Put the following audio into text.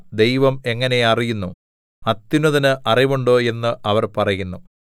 ദൈവം എങ്ങനെ അറിയുന്നു അത്യുന്നതന് അറിവുണ്ടോ എന്ന് അവർ പറയുന്നു